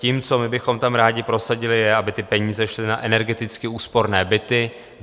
Tím, co my bychom tam rádi prosadili, je, aby ty peníze šly na energeticky úsporné byty.